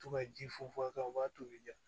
To ka ji funfun a kan u b'a tobi jo